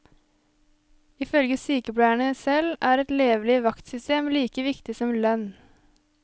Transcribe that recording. Ifølge sykepleierne selv, er et levelig vaktsystem like viktig som lønn.